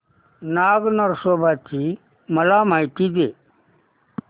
नाग नरसोबा ची मला माहिती दे